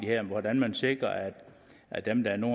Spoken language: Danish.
hvordan man sikrer at dem der nu